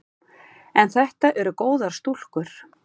En þetta eru góðar stúlkur.